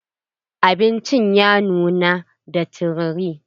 Abincin ya nuna da tururi.